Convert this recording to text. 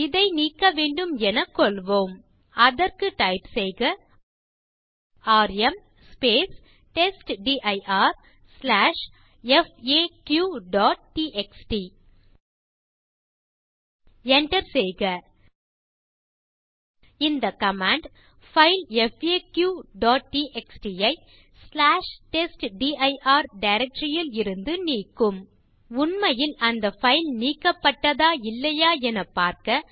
இதை நீக்க வேண்டும் எனக் கொள்வோம் அதற்கு டைப் செய்க ராம் testdirfaqடிஎக்ஸ்டி enter செய்க இந்த கமாண்ட் பைல் faqடிஎக்ஸ்டி ஐ testdir டைரக்டரி யில் இருந்து நீக்கும் உண்மையில் அந்த பைல் நீக்கப்பட்டதா இல்லையா எனப் பார்க்க